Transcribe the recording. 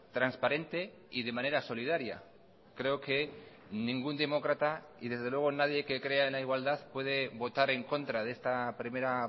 transparente y de manera solidaria creo que ningún demócrata y desde luego nadie que crea en la igualdad puede votar en contra de esta primera